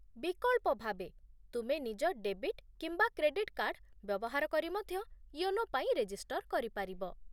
ବିକଳ୍ପ ଭାବେ, ତୁମେ ନିଜ ଡେବିଟ୍ କିମ୍ବା କ୍ରେଡିଟ୍ କାର୍ଡ ବ୍ୟବହାର କରି ମଧ୍ୟ ୟୋନୋ ପାଇଁ ରେଜିଷ୍ଟର କରିପାରିବ